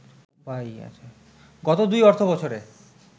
গত দুই অর্থবছরে